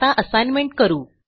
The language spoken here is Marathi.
आता असाइनमेंट करू